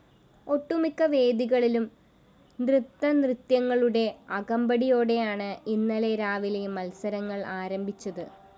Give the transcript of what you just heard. ഒട്ടുമിക്ക വേദികളിലും നൃത്തനൃത്യങ്ങളുടെ അകമ്പടിയോടെയാണ് ഇന്നലെ രാവിലെ മത്സരങ്ങള്‍ ആരംഭിച്ചത്